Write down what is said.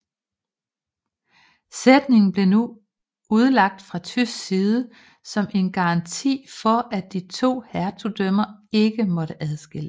Sætningen blev nu udlagt fra tysk side som en garanti for at de to hertugdømmer ikke måtte adskilles